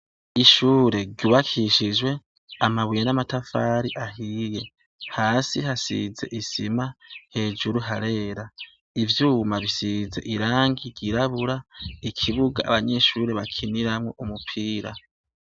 Ishure ryubakishijwe amabuye n' amatafari ahiye hasi hasize isima hejuru harera ivyuma bisize irangi ryirabura ikibuga abanyeshure bakiniramwo umupira.